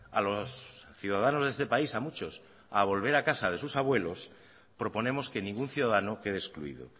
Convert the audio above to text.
a los ciudadanos de este país a muchos a volver a casa de sus abuelos proponemos que ningún ciudadano quede excluido